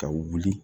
Ka wuli